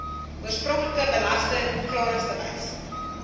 oorspronklike belasting klaringsbewys